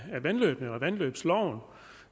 vandløbene og vandløbsloven